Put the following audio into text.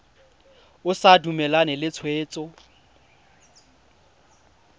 o sa dumalane le tshwetso